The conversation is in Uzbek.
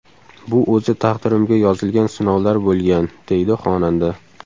Bu o‘zi taqdirimga yozilgan sinovlar bo‘lgan”, deydi xonanda.